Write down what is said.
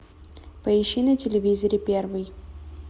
поищи на телевизоре первый